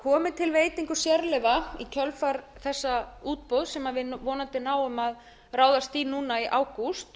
komi til veitingu sérleyfa í kjölfar þessa útboðs sem við vonandi náum að ráðast í núna í ágúst